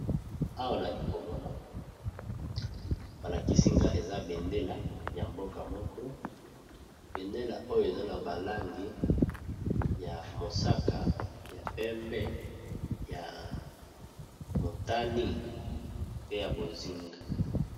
Awa nali komona balakisinga eza bendela ya mboka moko bendela oyo eza na balangi ya mosaka ya pembe ya motani pe ya bozinga.